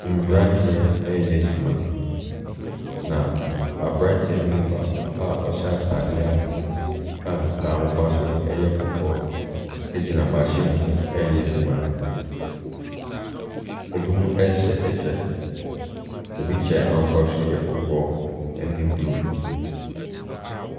Mmranteɛ reyɛ adwuma. Na abranteɛ no mu baako a ɔhyɛ ataadeɛ a n'ahofasuo yɛ kɔkɔɔ gyina machine reyɛ adwuma. Ebinom hyeehyɛ kyɛ. Ebi kyɛ n'ahofasu no yɛ kɔkɔɔ ne blue.